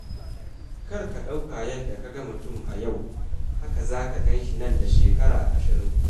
Kar ka ɗauka yadda ka ga mutum a yau haka za ka gan shi nan da shekara ashirin.